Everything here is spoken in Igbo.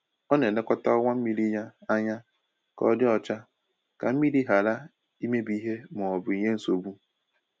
Ọ na-elekọta ọwa mmiri ya anya ka ọ dị ọcha ka mmiri ghara imebi ìhè ma ọ bụ nye nsogbu.